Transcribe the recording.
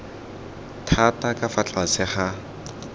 thata ka fa tlase ga